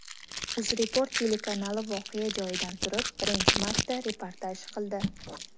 UzReport telekanali voqea joyidan turib birinchi marta reportaj qildi.